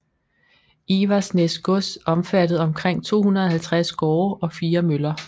Iversnæs gods omfattede omkring 250 gårde og 4 møller